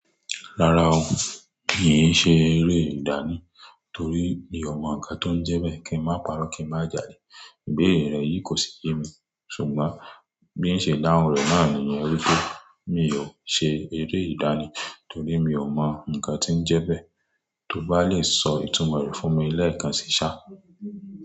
Rárá o, mi ò ṣe eré ìdánì torí mi ò mọ ǹkan tó ń jẹ bẹ́ẹ̀ kí n má pa'rọ́ kí n má jale. Ìbéèrè rẹ yìí kò sí yẹ́ mi ṣùgbọ́n bí ń ṣe dáhùn rẹ náà ni ìyẹn wí pé mi ò ṣe eré ìdánì torí mi ò mọ ǹkan tí ń jẹ bẹ́ẹ̀, tó bá lè sọ ìtumọ̀ rẹ̀ fún mi lẹ́ẹ̀kan ṣíṣá.